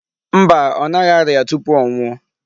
Mba. Ọ naghị arịa tupu ọ nwụọ.